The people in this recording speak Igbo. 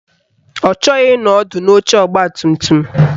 Ọ chọghị ịnọ ọdụ n'oche ọgbatumtum